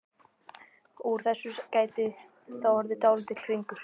Úr þessu gæti þá orðið dálítill hringur.